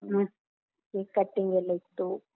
cake cutting ಎಲ್ಲಾ ಇತ್ತು.